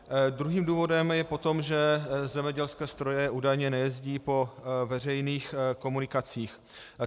Druhým důvodem je potom, že zemědělské stroje údajně nejezdí po veřejných komunikacích.